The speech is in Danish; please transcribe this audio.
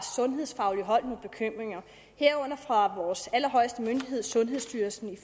sundhedsfagligt hold herunder fra vores allerhøjeste myndighed sundhedsstyrelsen